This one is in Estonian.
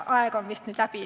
Aeg on vist nüüd läbi.